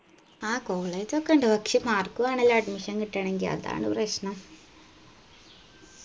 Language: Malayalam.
ആ college ഒക്കെ ഇണ്ട് പക്ഷെ mark വേണല്ലാ admission കിട്ടണെങ്കിൽ അതാണ് പ്രശ്നം